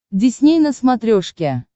дисней на смотрешке